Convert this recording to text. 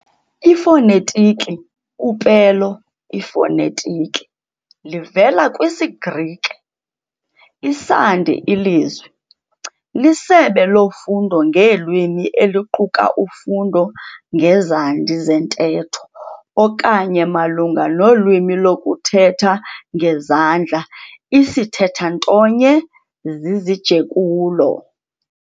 Ifonetiki, upelo, ifonetiki livela kwisiGrike, isandi, ilizwi, lisebe lofundo ngeelwimi eliquka ufundo ngezandi zentetho, okanye malunga nolwimi lokuthetha ngezandla isithethantonye zizijekulo.